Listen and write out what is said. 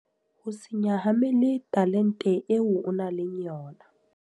Ho se nyahamele talent eo o nang le yona.